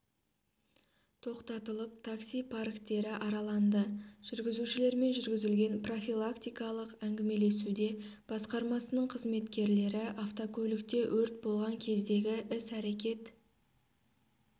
тоқтатылып такси парктері араланды жүргізушілермен жүргізілген профилактикалық әңгімелесуде басқармасының қызметкерлері автокөлікте өрт болған кездегі іс-әрекет